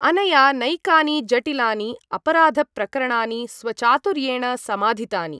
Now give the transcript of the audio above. अनया नैकानि जटिलानि अपराधप्रकरणानि स्वचातुर्येण समाधितानि।